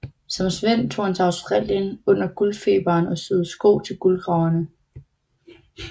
Som svend tog han til Australien under guldfeberen og syede sko til guldgraverne